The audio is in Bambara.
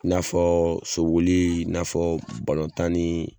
N'a fɔ soboli n'a fɔ balɔn tan ni